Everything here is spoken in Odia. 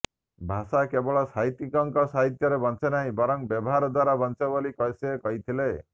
ଭାଷା କେବଳ ସାହିତ୍ୟିକଙ୍କ ସାହିତ୍ୟରେ ବଞ୍ଚେ ନାହିଁ ବରଂ ବ୍ୟବହାର ଦ୍ୱାରା ବଞ୍ଚେ ବୋଲି ସେ କହିଥିଲେ